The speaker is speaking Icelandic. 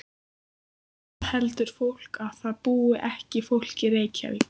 Hvað heldur fólk að það búi ekki fólk í Reykjavík?